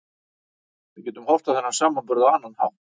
Við getum horft á þennan samburð á annan hátt.